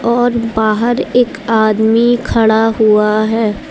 और बाहर एक आदमी खड़ा हुआ है।